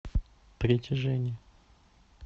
притяжение